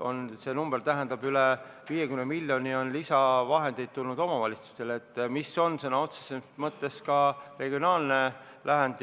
on tulnud üle 50 miljoni lisavahendeid omavalitsustele, mis on sõna otseses mõttes ka regionaalne lahend.